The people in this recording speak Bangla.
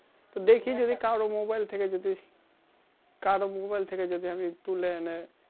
কারো mobile থেকে যদি কারো mobile থেকে যদি আমি তুলে এনে